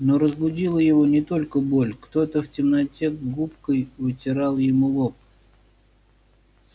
но разбудила его не только боль кто-то в темноте губкой вытирал ему лоб